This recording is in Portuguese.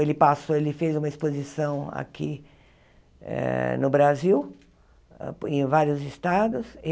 Ele passou, ele fez uma exposição aqui no eh Brasil, em vários estados.